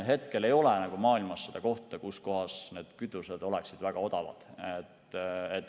Hetkel ei ole maailmas kohta, kus kütused oleksid väga odavad.